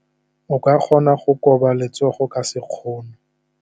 O ka kgona go koba letsogo ka sekgono.